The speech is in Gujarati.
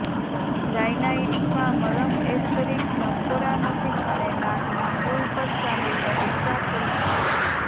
રાયનાઇટિસમાં મલમ એસ્ટરિક નસકોરા નજીક અને નાકના પુલ પર ચામડીનો ઉપચાર કરી શકે છે